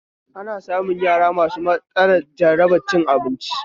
Ana samun yara masu matsalar jarabar cin abinci